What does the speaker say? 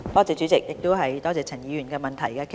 主席，多謝陳議員的補充質詢。